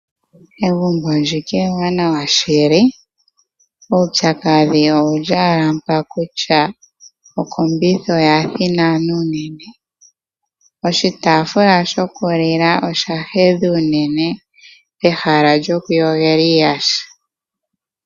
Egumbo ndika ewanawa shili, uupyakadhi owu li ashike mpaka kutya okombitha oya thinana unene. Oshitaafula shokulila osha hedha unene pehala lyokuyogela iiyaha.